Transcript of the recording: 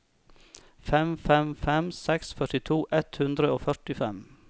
fem fem fem seks førtito ett hundre og førtifem